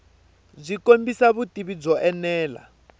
byi kombisa vutivi byo enela